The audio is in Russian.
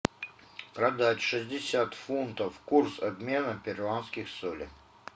продать шестьдесят фунтов курс обмена перуанских солей